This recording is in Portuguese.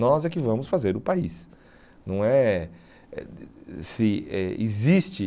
Nós é que vamos fazer o país. Não é é existe